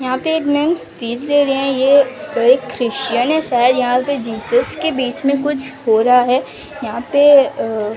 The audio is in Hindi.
यहां पे एक मैम स्पीच दे रही है ये एक क्रिस्टियन है शायद यहां पे जीसस के बीच मे कुछ हो रहा हैं यहां पे अं --